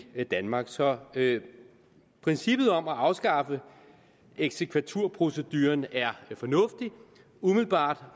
danmark så princippet om at afskaffe eksekvaturproceduren er umiddelbart